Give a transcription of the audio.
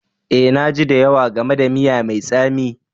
Eh, na ji da yawa game da miya mai tsami